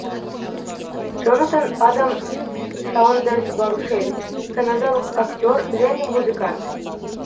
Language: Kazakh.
джонатан адам саундерс барушель канадалық актер және музыкант